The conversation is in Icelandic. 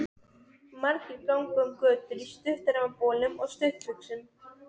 Margir ganga um götur í stuttermabolum og stuttbuxum.